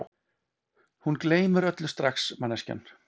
Hún gleymir öllu strax manneskjan.